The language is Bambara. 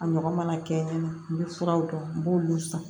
A ɲɔgɔn mana kɛ n bɛ furaw dɔn n b'olu san